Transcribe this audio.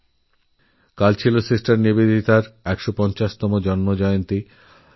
গতকাল সিস্টারনিবেদিতার সার্ধশত জন্মজয়ন্তী ছিল